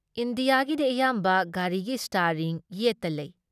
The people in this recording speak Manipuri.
ꯏꯟꯗꯤꯌꯥꯒꯤꯗꯤ ꯑꯌꯥꯝꯕ ꯒꯥꯔꯤꯒꯤ ꯏꯁꯇ꯭ꯌꯥꯔꯤꯡ ꯌꯦꯠꯇ ꯂꯩ ꯫